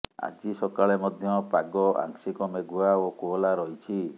ଆଜି ସକାଳେ ମଧ୍ୟ ପାଗ ଆଂଶିକ ମେଘୁଆ ଓ କୋହଲା ରହିଛି